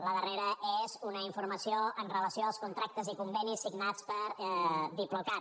la darrera és una informació amb relació als contractes i convenis signats per diplocat